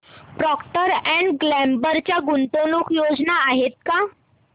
Procter and Gamble च्या गुंतवणूक योजना आहेत का